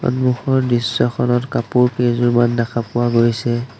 সন্মুখৰ দৃশ্যখনত কাপোৰ কেইজোৰমান দেখা পোৱা গৈছে।